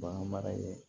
Bagan mara ye